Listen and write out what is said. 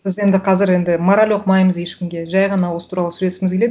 біз енді қазір енді мораль оқымаймыз ешкімге жай ғана осы туралы сөйлескіміз келеді